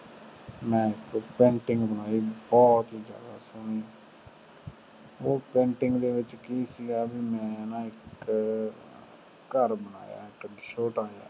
ਮੈਂ ਨਾ ਇਕ painting ਬਣਾਈ ਬਹੁਤ ਹੀ ਜਾਂਦਾ ਸੋਹਣੀ ਉਹ painting ਦੇ ਵਿਚ ਕਿ ਸੀਗਾ ਵੀ ਮੈਂ ਨਾ ਜਿਹੜਾ ਘਰ ਬਣਾਇਆ ਇਕ ਛੋਟਾ ਜਾ